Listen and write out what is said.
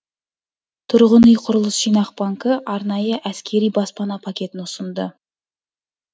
тұрғын үй құрылыс жинақ банкі арнайы әскери баспана пакетін ұсынды